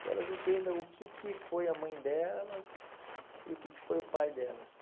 que elas entendam o que que foi a mãe delas e o que que foi o pai delas.